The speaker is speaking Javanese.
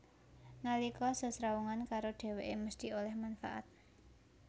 Nalika sesrawungan karo dhèwèké mesthi oleh manfaat